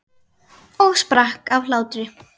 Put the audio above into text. Og sprakk af hlátri.